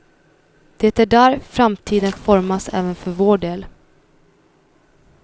Det är där framtiden formas även för vår del.